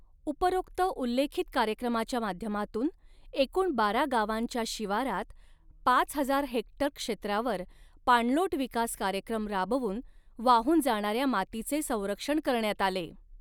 उपरोक्त उल्लेखित कार्यक्रमाच्या माध्यमातून एकूण बारा गावांच्या शिवारात पाच हजार हेक्टर क्षेत्रावर पाणलोट विकास कार्यक्रम राबवून वाहून जाणाऱ्या मातीचे संरक्षण करण्यात आले.